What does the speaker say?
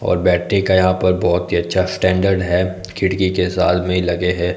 और बैठने का यहां पर बहोत ही अच्छा स्टैंडर्ड है खिड़की के साथ भी लगे है।